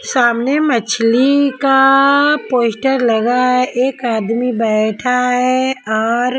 सामने मछली का पोस्टर लगा है एक आदमी बैठा है और.